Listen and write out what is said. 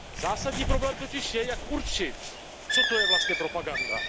Zásadní problém totiž je, jak určit, co to je vlastně propaganda.